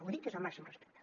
ho dic des del màxim respecte